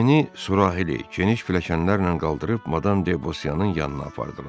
Ejeni surahi, geniş pilləkənlərlə qaldırıb Madam Debosyanın yanına apardılar.